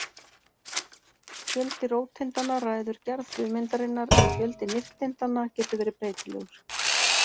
Fjöldi róteindanna ræður gerð frumeindarinnar en fjöldi nifteindanna getur verið breytilegur.